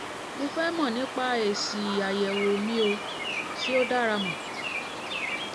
mo fẹ́ mọ̀ nípa èsì àyẹ̀wò mi ṣé ó dára mu